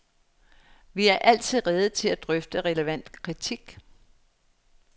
Vi er altid rede til at drøfte relevant kritik.